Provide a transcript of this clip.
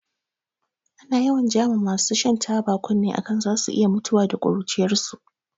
Ana yawan ja ma masu shan taba kunne a kan zasu iya mutuwa da ƙuruciyarsu.